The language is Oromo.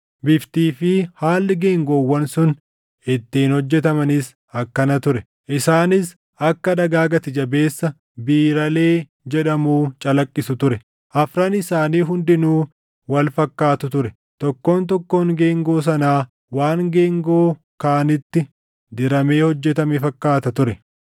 Biftii fi haalli geengoowwan sun ittiin hojjetamaniis akkana ture: Isaanis akka dhagaa gati jabeessa biiralee jedhamuu calaqqisu ture; afran isaanii hundinuu wal fakkaatu ture. Tokkoon tokkoon geengoo sanaa waan geengoo kaanitti diramee hojjetame fakkaata ture.